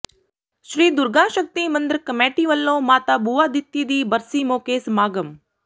ਸ੍ਰੀ Durga Shakti Mandir committee ਵੱਲੋਂ ਮਾਤਾ ਬੂਆ ਦਿੱਤੀ ਦੀ ਬਰਸੀ ਮੌਕੇ ਸਮਾਗਮ